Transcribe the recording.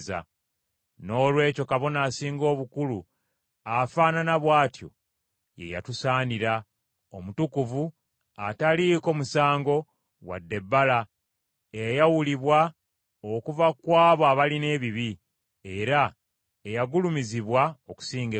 Noolwekyo Kabona Asinga Obukulu afaanana bw’atyo ye yatusaanira, omutukuvu, ataliiko musango, wadde ebbala, eyayawulibwa okuva ku abo abalina ebibi, era eyagulumizibwa okusinga eggulu,